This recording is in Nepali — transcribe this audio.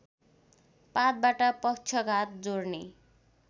पातबाट पक्षघात जोर्नी